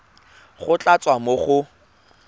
go tla tswa mo go